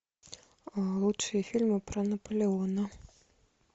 лучшие фильмы про наполеона